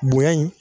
Bonya in